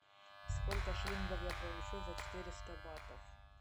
сколько шиллингов я получу за четыреста батов